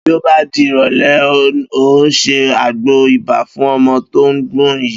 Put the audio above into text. Bí ó bá di ìrò̩lé̩, n óò se àgbo ibà fún o̩mo̩ tó ń gbò̩n yìí